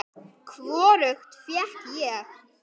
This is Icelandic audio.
Hvorugt fékk ég.